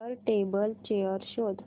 वर table chair शोध